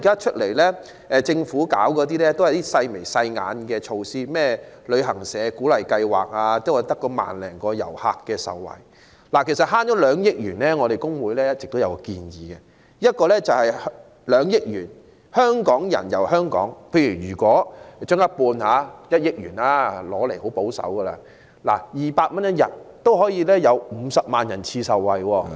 其實，就省下來的2億元，我們工聯會一直有一項建議，就是從這2億元中撥出一部分，例如一半，即1億元，用作推出"香港人遊香港"計劃，以每人每天200元資助額計算，便可有50萬人次受惠......